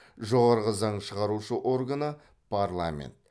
жоғарғы заң шығарушы органы парламент